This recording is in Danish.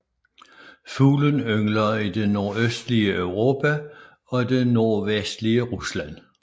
Fuglen yngler i det nordøstlige Europa og det nordvestlige Rusland